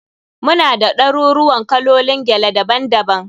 Muna da ɗaruruuwan kalolin gele daban daban.